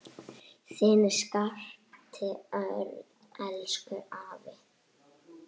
Þinn Skapti Örn. Elsku afi.